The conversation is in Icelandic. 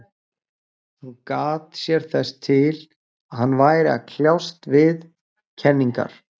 Hún gat sér þess til, að hann væri að kljást við kenningar